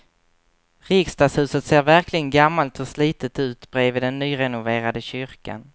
Riksdagshuset ser verkligen gammalt och slitet ut bredvid den nyrenoverade kyrkan.